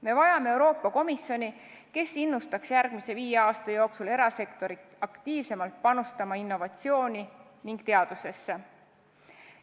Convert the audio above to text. Me vajame Euroopa Komisjoni, kes innustaks järgmise viie aasta jooksul erasektorit aktiivsemalt panustama innovatsiooni ning teadusesse.